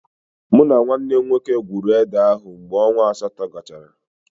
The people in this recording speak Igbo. Mụ na nwanne m nwoke gwuuru ede ahụ mgbe ọnwa asatọ gachara.